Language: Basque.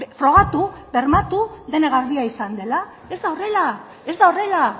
frogatu bermatu dena garbia izan dela ez da horrela ez da horrela